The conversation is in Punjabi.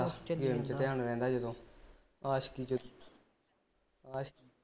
ਧਿਆਨ ਰਹਿੰਦਾ ਜਦੋਂ ਆਸ਼ਕੀ ਵਿਚ ਆਸ਼ਕੀ